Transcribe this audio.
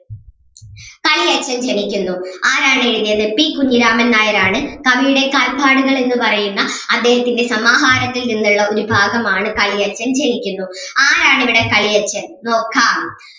കളിയച്ഛൻ ജനിക്കുന്നു ആരാണ് എഴുതിയത് പി കുഞ്ഞിരാമൻ നായരാണ് കവിയുടെ കാൽപ്പാടുകൾ എന്ന് പറയുന്ന അദ്ദേഹത്തിൻ്റെ സമാഹാരത്തിൽ നിന്നുളള ഒരു ഭാഗം ആണ് കളിയച്ഛൻ ജനിക്കുന്നു ആരാണ് ഇവിടെ കളിയച്ഛൻ നോക്കാം.